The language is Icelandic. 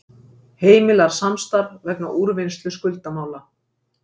Heimilar samstarf vegna úrvinnslu skuldamála